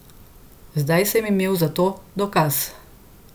Zdaj sem imel za to dokaz.